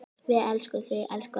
Við elskum þig, elsku amma.